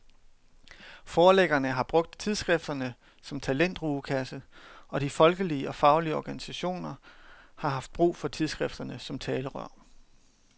Forlæggerne har brugt tidsskrifterne som talentrugekasser, og de folkelige og faglige organisationer har haft brug for tidsskrifterne som talerør.